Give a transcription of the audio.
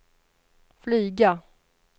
flyga